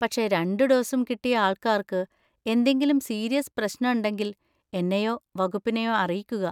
പക്ഷെ രണ്ട് ഡോസും കിട്ടിയ ആൾക്കാർക്ക് എന്തെങ്കിലും സീരിയസ് പ്രശ്നണ്ടെങ്കിൽ എന്നെയോ വകുപ്പിനെയോ അറിയിക്കുക.